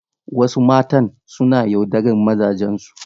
Wasu matan suna yaudarar mazajensu.